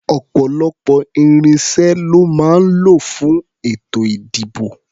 Ọ̀pọ̀lọpọ̀ irinṣẹ́ lọ́ máa ń lò fún ètò-ìdìbò.